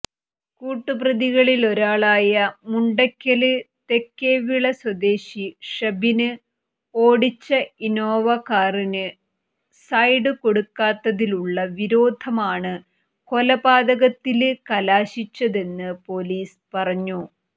കൂട്ടുപ്രതികളിലൊരാളായ മുണ്ടയ്ക്കല് തേക്കേവിള സ്വദേശി ഷബിന് ഓടിച്ച ഇന്നോവ കാറിന് സൈഡ് കൊടുക്കാത്തതിലുളള വിരോധമാണ് കൊലപാതകത്തില് കലാശിച്ചതെന്ന് പോലീസ് പറഞ്ഞു